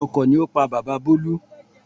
Ọkọ̀ ni ó pa bàbá bolu